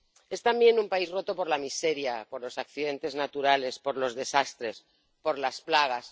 Es también un país roto por la miseria, por los accidentes naturales, por los desastres, por las plagas.